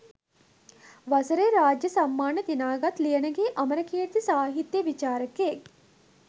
වසරේ රාජ්‍ය සම්මාන දිනාගත් ලියනගේ අමරකීර්ති සාහිත්‍ය විචාරකයෙක්